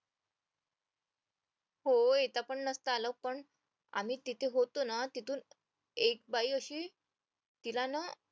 हो येता पण नसत आलं पण आम्ही तिथे होतो ना तिथून एक बाई अशी तिला ना